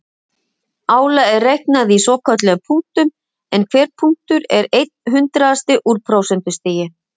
Álagið er reiknað í svokölluðum punktum en hver punktur er einn hundraðasti úr prósentustigi.